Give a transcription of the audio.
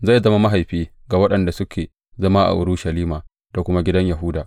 Zai zama mahaifi ga waɗanda suke zama a Urushalima da kuma gidan Yahuda.